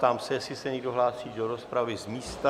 Ptám se, jestli se někdo hlásí do rozpravy z místa?